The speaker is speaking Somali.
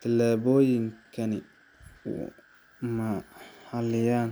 Tallaabooyinkani ma xaliyaan